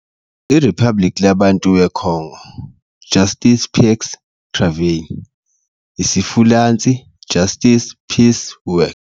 iRiphabliki Labantu weKongo - "Justice - Paix - Travail", isiFulentshi, Justice, Peace, Work.